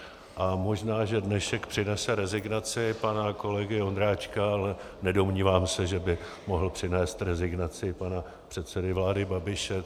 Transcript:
A možná že dnešek přinese rezignaci pana kolegy Ondráčka, ale nedomnívám se, že by mohl přinést rezignaci pana předsedy vlády Babiše.